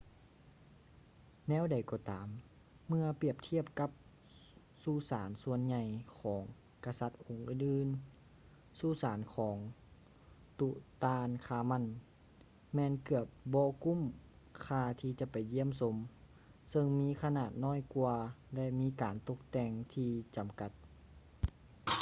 ແນວໃດກໍຕາມ ເມື່ອປຽບທຽບກັບສຸສານສ່ວນໃຫຍ່ຂອງກະສັດອົງອື່ນໆ ສຸສານຂອງ ຕຸຕານຄາມັນ tutankhamun ແມ່ນເກືອບບໍ່ກຸ້ມຄ່າທີ່ຈະໄປຢ້ຽມຊົມ ຊຶ່ງມີຂະໜາດນ້ອຍກວ່າ ແລະ ມີການຕົກແຕ່ງທີ່ຈຳກັດ